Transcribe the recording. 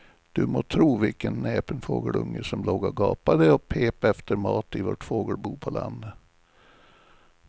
Du må tro vilken näpen fågelunge som låg och gapade och pep efter mat i vårt fågelbo på landet.